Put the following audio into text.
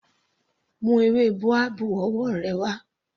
Mú ewé boabab ọwọ́ rẹ wá.